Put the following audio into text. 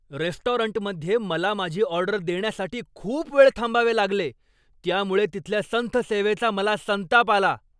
रेस्टॉरंटमध्ये मला माझी ऑर्डर देण्यासाठी खूप वेळ थांबावे लागले, त्यामुळे तिथल्या संथ सेवेचा मला संताप आला.